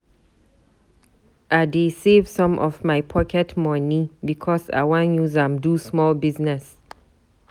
I dey save some of my pocket moni because I wan use am do small business.